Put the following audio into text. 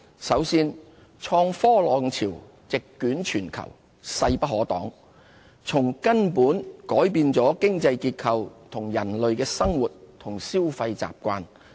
首先，創科浪潮席捲全球，勢不可當，從根本改變了經濟結構和人類的生活與消費習慣。